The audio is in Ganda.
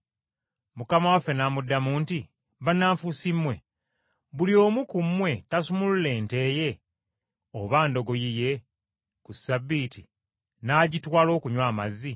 Mukama waffe n’amuddamu nti, “Bannanfuusi mmwe! Buli omu ku mmwe tasumulula nte ye oba ndogoyi ye ku Ssabbiiti n’agitwala okunywa amazzi?